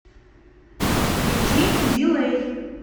включи дилэй